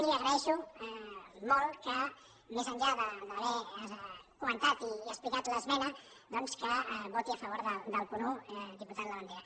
i li agraeixo molt que més enllà d’haver comentat i explicat l’esmena doncs voti a favor del punt un diputat labandera